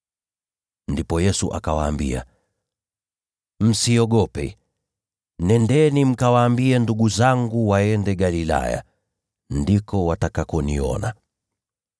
Ndipo Yesu akawaambia, “Msiogope. Nendeni mkawaambie ndugu zangu waende Galilaya, ndiko watakakoniona.”